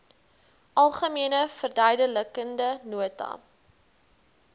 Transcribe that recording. algemene verduidelikende nota